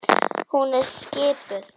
Hún er skipuð.